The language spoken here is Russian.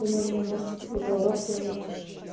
вы наверное вместе какой-то урок делаете